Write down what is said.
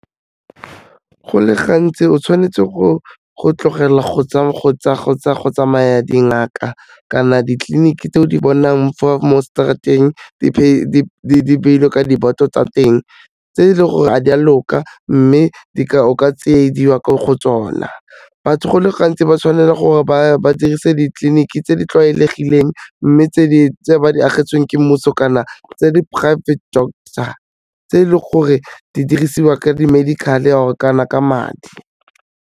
Go le gantsi o tshwanetse go tlogela go tsamaya dingaka kana ditleliniki tse o di bonang fa mo street-eng, di beilwe ka di-board-o tsa teng, tse e leng gore a di a loka mme o ka tsiediwa ko go tsona. Batho go le gantsi ba tshwanela gore ba dirise ditleliniki tse di tlwaelegileng mme tse ba di agetsweng ke mmuso kana tse di private doctor, tse e le gore di dirisiwa ka di medical-e kana ka madi.